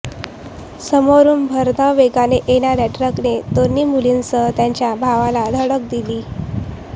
समोरून भरधाव वेगाने येणाऱ्या ट्रकने दोन्ही मुलींसह त्याच्या भावाला धडक दिली